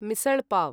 misal pav